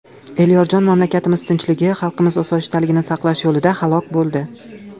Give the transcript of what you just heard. Elyorjon mamlakatimiz tinchligi, xalqimiz osoyishtaligini saqlash yo‘lida halok bo‘ldi.